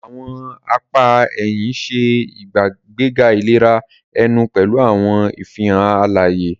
Awọn apá ẹhìn ṣe ìgbéga ìlera ẹnu pẹlu awọn ìfihàn alaye.